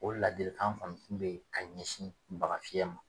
O ladilikan kɔni tun bɛ yen ka ɲɛsin bagafiyɛ ma